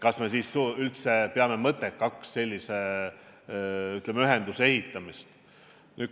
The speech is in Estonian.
Kas me siis peame üldse mõttekaks sellise ühenduse rajamist?